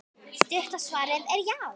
Stutta svarið er já!